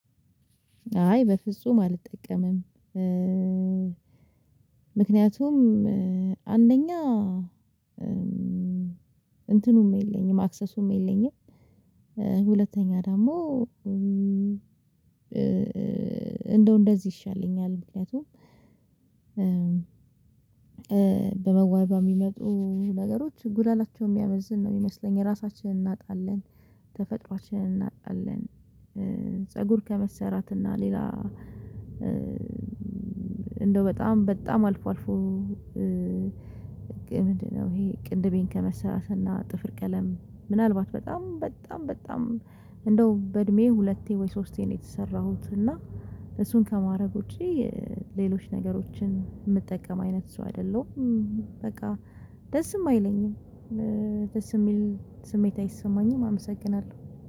አይ በፍጹም አልጠቀምም ምክንያቱም አንደኛ እንትኑም የለኝም አክሰሱም የለኝም ሁለተኛ ደግሞ እንደው እንደዚህ ይሻለኛል ምክንያቱም በመዋቢያ የሚመጡ ነገሮች ጉዳታቸው የሚያመዝን ነው የሚመስለኝ ራሳችንን እናጣለን ተፈጥሮአችንን እናጣለን ፀጉር ከመሰራት እና ሌላ እንደው በጣም በጣም አልፎ አልፎ ምንድነው ይሄ ቅንድቤን ከመሰራትና ጥፍር ቀለም ምናልባት በጣም በጣም በጣም እንደው በእድሜ ሁለቴ ወይ ሶስቴ ነው የተሰራሁት እና እሱን ከማድረግ ውጪ ሌሎች ነገሮችን የምትጠቀም አይነት ሰው አይደለሁም በቃ ደስም አይለኝም ደስ የሚል ስሜት አይሰማኝም አመሰግናለሁ።